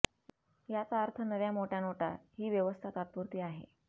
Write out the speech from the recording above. याचा अर्थ नव्या मोठय़ा नोटा ही व्यवस्था तात्पुरती आहे